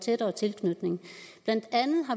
tættere tilknytning